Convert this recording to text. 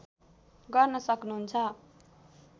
गर्न सक्नु्हुन्छ